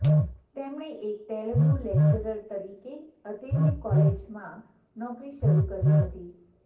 તેમણે એક તેલુગુ લેક્ચરર તરીકે અતિલ્લી કોલેજમાં નોકરી શરૂ કરી હતી